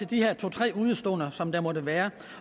de her to tre udeståender som der måtte være